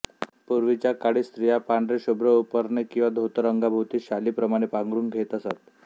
पूर्वीचा काळी स्त्रिया पांढरे शुभ्र उपरणे किंवा धोतर अंगाभोवती शाली प्रमाणे पांघरून घेत असत